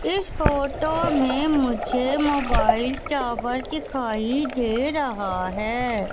इस फोटो में मुझे मोबाइल टॉवर दिखाई दे रहा है।